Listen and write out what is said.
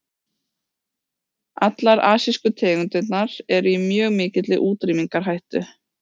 Allar asísku tegundirnar eru í mjög mikilli útrýmingarhættu.